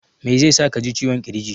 Mai zai sa ka ji ciwon ƙirji?